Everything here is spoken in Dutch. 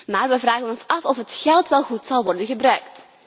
Maar wij vragen ons af of het geld wel goed zal worden gebruikt.